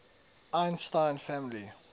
einstein family